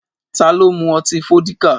Ta ló mú ọtí Fọ́díkà?